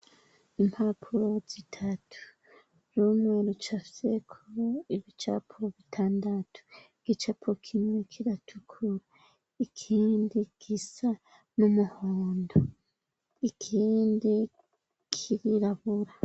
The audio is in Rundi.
Impapuro zitatu rumwe rucafyeko ibicapo bitandatu gicapo kimwe kiratukura ikindi gisa n'umuhondo ikindi kirirabura.